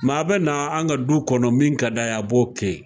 a bɛ na an ka du kɔnɔ min ka d'a ye, a b'o kɛ yen.